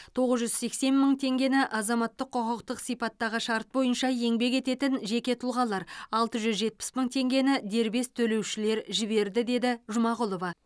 тоғыз жүз сексен мың теңгені азаматтық құқықтық сипаттағы шарт бойынша еңбек ететін жеке тұлғалар алты жүз жетпіс мың теңгені дербес төлеушілер жіберді деді жұмағұлова